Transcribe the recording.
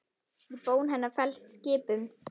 Í bón hennar felst skipun.